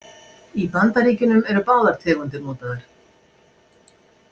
Í Bandaríkjunum eru báðar tegundir notaðar.